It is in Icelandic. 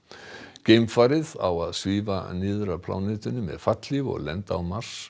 geimfarið á að svífa niður að plánetunni með fallhlíf og lenda á Mars